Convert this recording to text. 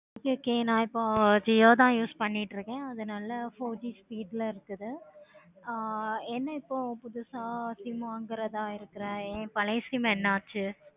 okay நா இப்போ jio தான் use பண்ணிட்டு இருக்கேன். அது நல்ல four G speed ல இருக்கு. ஆஹ் என்ன இப்போ புதுசா sim வாங்குறதா இருக்கேன். ஏன் பழைய sim என்னாச்சி?